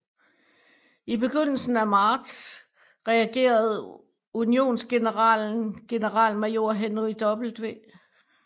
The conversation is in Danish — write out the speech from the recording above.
I begyndelsen af marts reagerede unionsgeneralen generalmajor Henry W